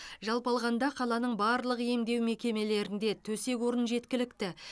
жалпы алғанда қаланың барлық емдеу мекемелерінде төсек орын жеткілікті